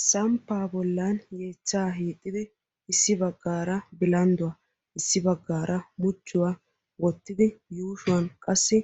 Samppaa bollan yeechchaa hiixxidi issi baggaara bilandduwa issi baggaara muchuwa wottidi yuushuwan qassi